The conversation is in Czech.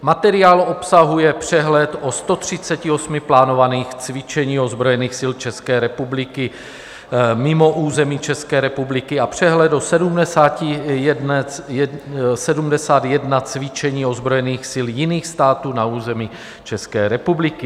Materiál obsahuje přehled o 138 plánovaných cvičeních ozbrojených sil České republiky mimo území České republiky a přehled o 71 cvičeních ozbrojených sil jiných států na území České republiky.